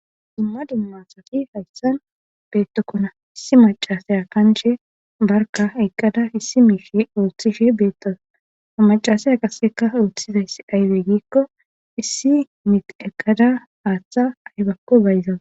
dumma dummasafi hayssan beettokkona issi macasaya kanche barka eqqada issi miishe ooththishe beetto amacasaya qasseka ooththizayss aywe giikko issi mit eqqada haaththa aybakko bayzawa